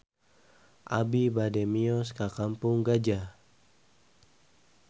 Abi bade mios ka Kampung Gajah